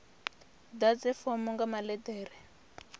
ḓadze fomo nga maḽe ḓere